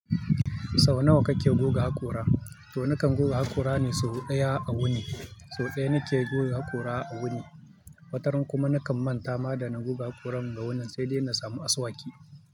Sau nawa kake guga haƙora? To nakan goge haƙora ne sau ɗaya a wuni. Sau ɗaya nake guga haƙora a wuni. Wataran kuma nakan manta ma da na goge haƙoran da wannan, sai dai na samu asuwaki.